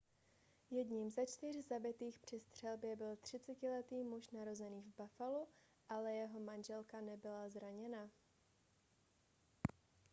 jedním ze čtyř zabitých při střelbě byl 30letý muž narozený v buffalu ale jeho manželka nebyla zraněna